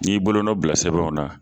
N'i bolonɔn bila sɛbɛnw na.